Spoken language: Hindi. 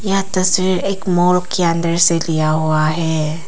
यह तस्वीर एक मॉल के अंदर से लिया हुआ है।